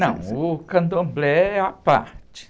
Não, o candomblé é à parte.